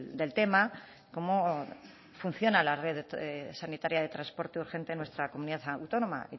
del tema cómo funciona la red sanitaria de transporte urgente en nuestra comunidad autónoma